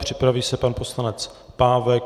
Připraví se pan poslanec Pávek.